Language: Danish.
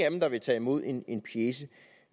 af dem der vil tage imod en en pjece